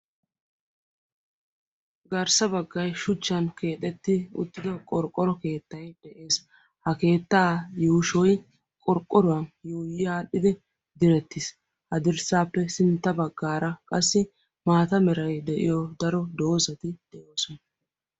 Garssa baggay shuchchan keexettida qorqoro keettay des. ha keettaa yuushshoy qorqqoruwaan yuuyi adhdhidi direttiis. ha dirssaappe sintta baggaara qassi maata meray de'iyoo daro doozati de'oosona.